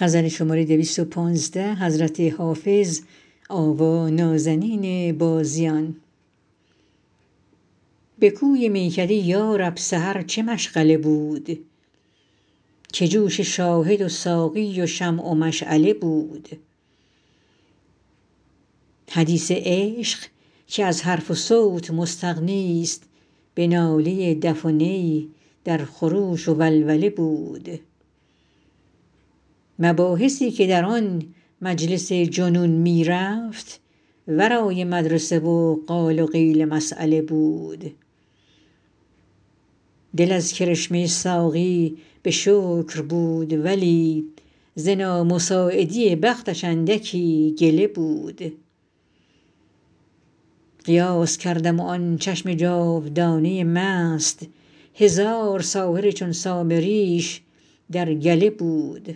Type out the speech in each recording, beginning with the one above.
به کوی میکده یا رب سحر چه مشغله بود که جوش شاهد و ساقی و شمع و مشعله بود حدیث عشق که از حرف و صوت مستغنیست به ناله دف و نی در خروش و ولوله بود مباحثی که در آن مجلس جنون می رفت ورای مدرسه و قال و قیل مسأله بود دل از کرشمه ساقی به شکر بود ولی ز نامساعدی بختش اندکی گله بود قیاس کردم و آن چشم جادوانه مست هزار ساحر چون سامریش در گله بود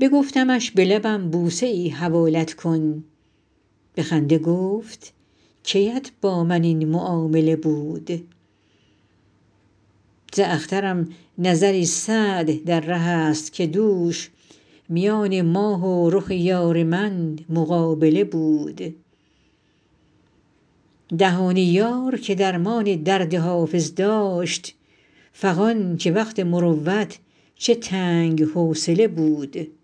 بگفتمش به لبم بوسه ای حوالت کن به خنده گفت کی ات با من این معامله بود ز اخترم نظری سعد در ره است که دوش میان ماه و رخ یار من مقابله بود دهان یار که درمان درد حافظ داشت فغان که وقت مروت چه تنگ حوصله بود